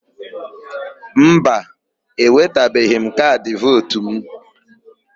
Mba, ewetabeghị m kaadị vootu mụ.